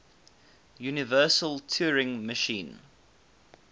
universal turing machine